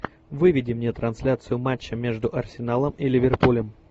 выведи мне трансляцию матча между арсеналом и ливерпулем